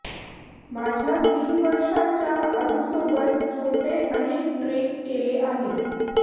माझ्या तीन वर्षाच्या अदूसोबत छोटे अनेक ट्रेक केले आहेत